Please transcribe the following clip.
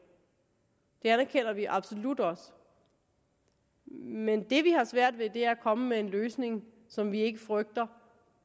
det anerkender vi absolut også men det vi har svært ved er at komme med en løsning som vi ikke frygter